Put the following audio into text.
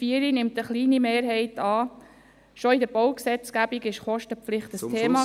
Die 4 nimmt eine kleine Mehrheit an, schon in der Baugesetzgebung war die Kostenpflicht ein Thema.